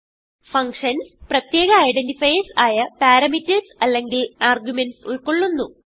functions പ്രത്യേക identifiers ആയ parameters അല്ലെങ്കിൽ ആർഗുമെന്റ്സ് ഉൾക്കൊളളുന്നു